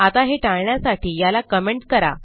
आता हे टाळण्यासाठी याला कमेंट करा